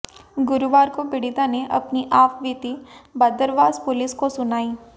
गुरुवार को पीड़िता ने अपनी आपबीती बदरवास पुलिस को सुनाई